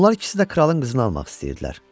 Onlar ikisi də kralın qızını almaq istəyirdilər.